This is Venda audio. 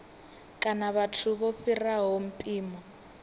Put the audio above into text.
kana vhathu vho fhiraho mpimo